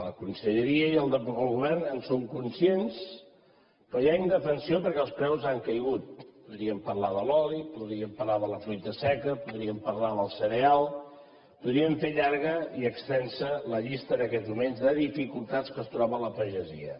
la conselleria i el govern en són conscients però hi ha indefensió perquè els preus han caigut podríem parlar de l’oli podríem parlar de la fruita seca podríem parlar del cereal podríem fer llarga i extensa la llista en aquests moments de dificultats en què es troba la pagesia